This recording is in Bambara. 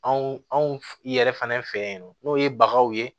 Anw anw yɛrɛ fɛnɛ fɛ yen nɔ n'o ye baganw ye